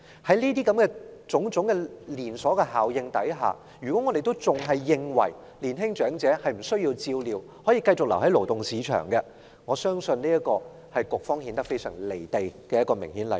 在種種連鎖效應下，如果我們仍然認為年青長者不需要照料，可繼續留在勞動市場，我相信這是顯示局方非常"離地"的明顯例子。